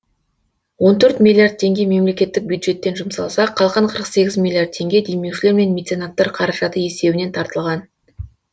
он төрт миллиард теңге мемлекеттік бюджеттен жұмсалса қалған қырық сегіз миллиард теңге демеушілер мен меценаттар қаражаты есебінен тартылған